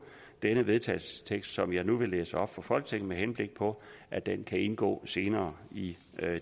denne vedtagelsestekst som jeg nu vil læse op for folketinget med henblik på at den kan indgå senere i